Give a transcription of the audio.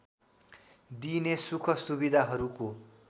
दिइने सुख सुविधाहरूको